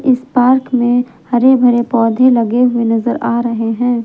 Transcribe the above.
इस पार्क में हरे भरे पौधे लगे हुए नजर आ रहे हैं।